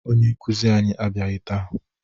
Onye nkụzi anyị abịaghị taa